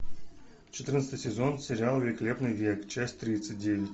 четырнадцатый сезон сериал великолепный век часть тридцать девять